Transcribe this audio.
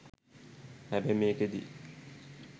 හැබැයි මේකෙදි